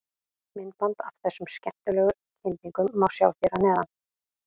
Myndband af þessum skemmtilegu kyndingum má sjá hér að neðan.